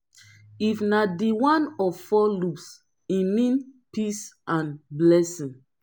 if na di one of four lobes e mean peace and blessing